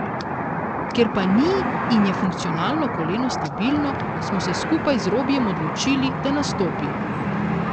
Ker pa ni in je funkcionalno koleno stabilno, smo se skupaj z Robijem odločili, da nastopi.